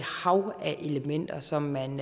hav af elementer som man